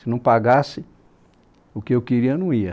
Se não pagasse, o que eu queria eu não ia.